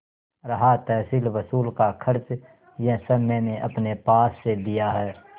रहा तहसीलवसूल का खर्च यह सब मैंने अपने पास से दिया है